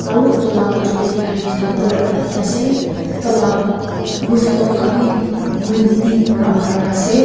on otu laga mchod teh dekhai misena gor ekta dekhi tai laga muf tp khan bhi green tin pra marina ase.